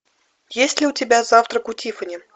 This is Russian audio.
есть ли у тебя завтрак у тиффани